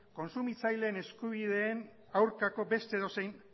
kontsumitzaileen eskubideen aurkako beste edozein